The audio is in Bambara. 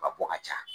Ka bɔ ka ca